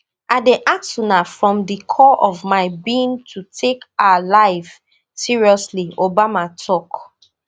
i dey ask una from di core of my being to take our lives seriously obama tok